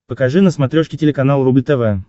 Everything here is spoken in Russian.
покажи на смотрешке телеканал рубль тв